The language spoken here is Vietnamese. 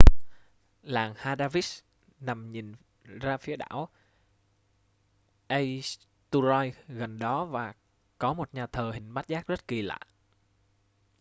làng haldarsvík nằm nhìn ra phía đảo eysturoy gần đó và có một nhà thờ hình bát giác rất kỳ lạ